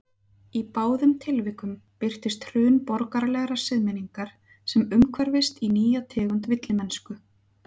Í báðum tilvikum birtist hrun borgaralegrar siðmenningar sem umhverfist í nýja tegund villimennsku.